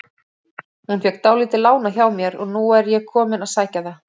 Hún fékk dálítið lánað hjá mér og nú er ég kominn að sækja það.